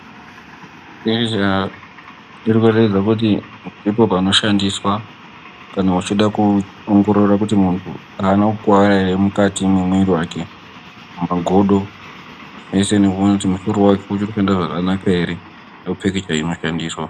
Ezvezve komberedze kuti ndipo panoshandiswa kana uchida kuongorora kuti muntu aana kukuwara ere mukati mwemiri wake mugodo zveshe nemuntu mukuru wacho uchiri kushanda zvakanaka ere zveshe zvinoshandiswa.